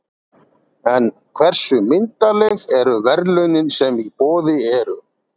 En hversu myndarleg eru verðlaunin sem í boði eru?